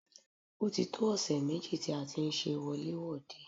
Ó ti tó ọ̀sẹ̀ méjì tí a ti ń ṣe wọlé-wòde.